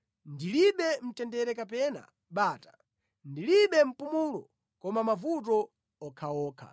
Ndilibe mtendere kapena bata, ndilibe mpumulo, koma mavuto okhaokha.”